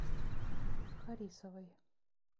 харисовой